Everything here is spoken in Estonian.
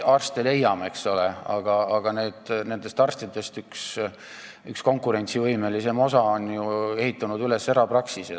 Arste me veel leiame, aga nendest üks konkurentsivõimelisem osa on ju erapraksise üles ehitanud.